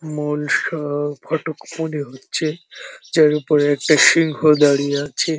মূল স ফটক মনে হচ্ছে যার উপরে একটা সিংহ দাঁড়িয়ে আছে।